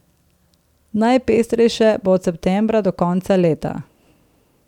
Najpestrejše bo od septembra do konca leta.